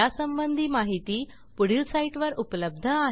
यासंबंधी माहिती पुढील साईटवर उपलब्ध आहे